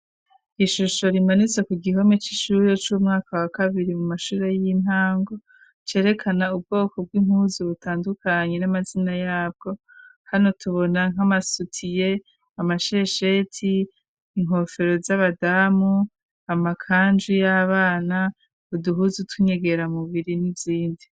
Ishusho rimanitse ku gihome c'ishure c'umwaka wa kabiri mu mashure y'intango cerekana ubwoko bw'impuzu butandukanye n'amazina yabwo hano tubona nk'amasutiye, amashesheti, inkofero z'abadamu, amakanju y'abana ,uduhuzu tw'inyegera mu biri n'izindi.